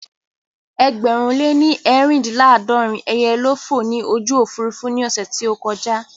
Ẹgbẹ̀rún lè ní eerindinlaadorin ẹyẹ ló fò ní ojú Òfurufú ní ọ̀sẹ̀ tí ó kọjà